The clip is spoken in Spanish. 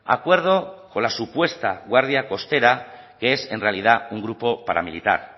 acuerdo con la supuesta guardia costera que es en realidad un grupo paramilitar